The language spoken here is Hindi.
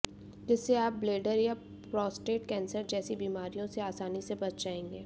जिससे आप ब्लैडर या प्रोस्टेट कैंसर जैसी बीमारियों से आसानी से बच जाएंगे